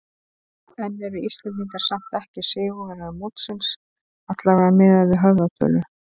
En eru Íslendingar samt ekki sigurvegarar mótsins, allavega miðað við höfðatölu?